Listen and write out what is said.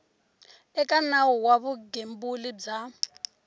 eka nawu wa vugembuli bya